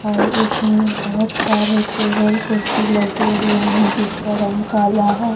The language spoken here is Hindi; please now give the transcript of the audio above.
और इसमें बहुत सारे टेबल कुर्सी लगे हुए हैं जिसका रंग काला है ।